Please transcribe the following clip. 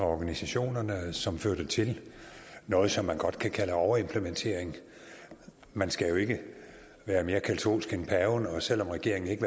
organisationerne som førte til noget som man godt kan kalde overimplementering man skal jo ikke være mere katolsk end paven og selv om regeringen ikke